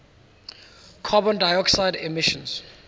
carbon dioxide emissions